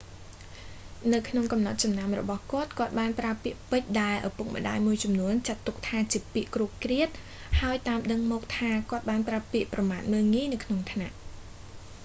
នៅក្នុងកំណត់ចំណាំរបស់គាត់ គាត់បានប្រើពាក្យពេចន៍ដែលឪពុកម្តាយមួយចំនួនចាត់ទុកថាជាពាក្យគ្រោតគ្រាត ហើយតាមដឹងមកថា គាត់បានប្រើពាក្យប្រមាថមើលងាយនៅក្នុងថ្នាក់